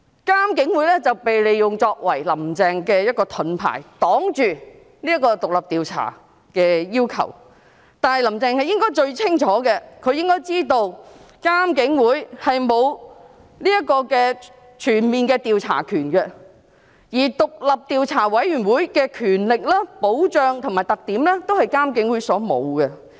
監警會被利用作為"林鄭"的盾牌，擋住獨立調查的要求，但是，"林鄭"應該最清楚知道，監警會並無全面的調查權，而獨立調查委員會的權力、保障和特點都是監警會沒有的。